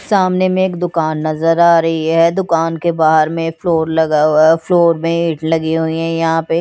सामने में एक दुकान नज़र आ रही है दुकान के बाहर में फ्लोर लगा हुआ है फ्लोर मैट लगी हुई हैं यहाँ पे।